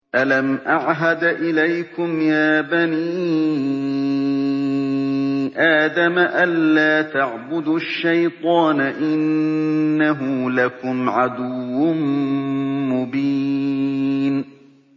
۞ أَلَمْ أَعْهَدْ إِلَيْكُمْ يَا بَنِي آدَمَ أَن لَّا تَعْبُدُوا الشَّيْطَانَ ۖ إِنَّهُ لَكُمْ عَدُوٌّ مُّبِينٌ